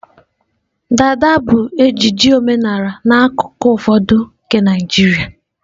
dada bụ ejiji omenala n'akụkụ ụfọdụ nke Naịjirịa.